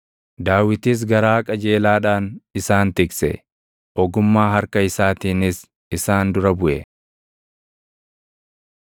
Daawitis garaa qajeelaadhaan isaan tikse; ogummaa harka isaatiinis isaan dura buʼe.